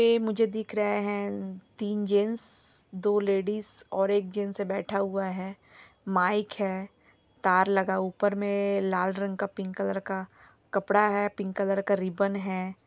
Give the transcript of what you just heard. यह मुझे दिख रहा है तीन जैंट्स दो लेडिज और एक जैंट्स बैठा हुआ है माइक है तार लगा हुआ ऊपर मे लाल रंग का पिंक कलर का कपड़ा है पिंक कलर का रिबन है।